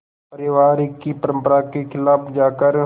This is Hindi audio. परिवार की परंपरा के ख़िलाफ़ जाकर